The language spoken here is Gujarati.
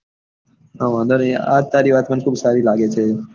હા વાંધો ની આજ તારી વાત મને ખૂબ સારી લાગે છે.